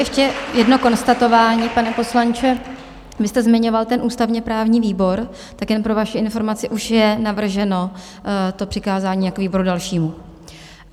Ještě jedno konstatování, pane poslanče, vy jste zmiňoval ten ústavně-právní výbor, tak jen pro vaši informaci, už je navrženo to přikázání jako výboru dalšímu.